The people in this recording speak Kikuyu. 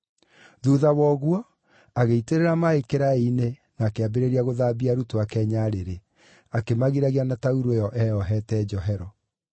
Thuutha wa ũguo, agĩitĩrĩra maaĩ kĩraĩ-inĩ na akĩambĩrĩria gũthambia arutwo ake nyarĩrĩ, akĩmagiragia na taurũ ĩyo eyohete njohero.